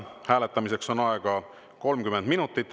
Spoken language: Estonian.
Hääletamiseks on aega 30 minutit.